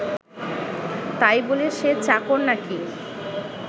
তাই বলে সে চাকর নাকি